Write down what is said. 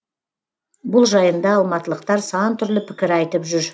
бұл жайында алматылықтар сантүрлі пікір айтып жүр